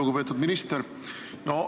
Lugupeetud minister!